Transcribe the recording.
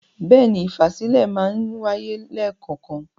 Bẹ́ẹ̀ni, ìfàsílẹ̀ máa ń wáyé lẹ́kọ̀ọ̀kan.